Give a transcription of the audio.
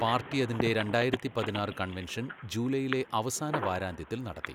Party അതിന്റെ രണ്ടായിരത്തി പതിനാറ് കൺവെൻഷൻ ജൂലൈയിലെ അവസാന വാരാന്ത്യത്തിൽ നടത്തി.